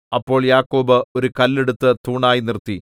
അപ്പോൾ യാക്കോബ് ഒരു കല്ല് എടുത്തു തൂണായി നിർത്തി